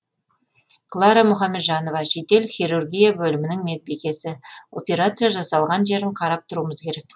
клара мұхамеджанова жедел хирургия бөлімінің медбикесі операция жасалған жерін қарап тұруымыз керек